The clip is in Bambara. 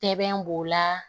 Sɛbɛn b'o la